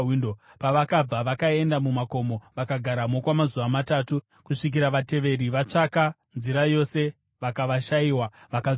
Pavakabva, vakaenda mumakomo vakagaramo kwamazuva matatu, kusvikira vateveri vatsvaka nzira yose vakavashayiwa vakadzoka.